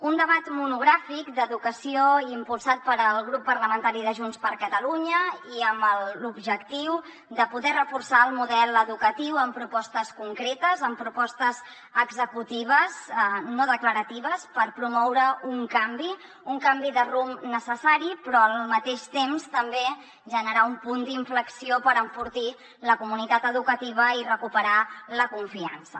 un debat monogràfic d’educació impulsat pel grup parlamentari de junts per catalunya i amb l’objectiu de poder reforçar el model educatiu amb propostes concretes amb propostes executives no declaratives per promoure un canvi un canvi de rumb necessari però al mateix temps també generar un punt d’inflexió per enfortir la comunitat educativa i recuperar la confiança